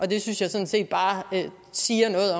det synes jeg sådan set bare siger noget